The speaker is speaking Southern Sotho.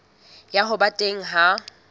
ya ho ba teng ha